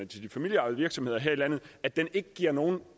til de familieejede virksomheder her i landet ikke giver nogen